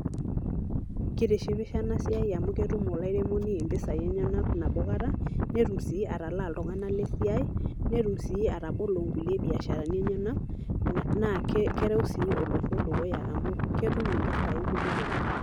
Kitishipisho ena siai amu ketum olairemoni impisai enyenak nabo kata, netum sii atalaa iltung'anak le siai, netum sii atabolo nkulie biasharani enyenak, naake kereu sii olosho dukuya amu ketum mpisai kumok oleng'.